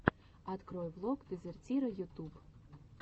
открой влог дезертира ютуб